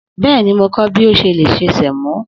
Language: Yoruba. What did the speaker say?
Bẹ́ẹ̀ni, Mo ko bi o ṣe lè se sẹ̀mó.